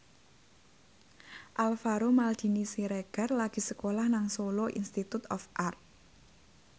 Alvaro Maldini Siregar lagi sekolah nang Solo Institute of Art